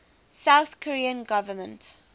south korean government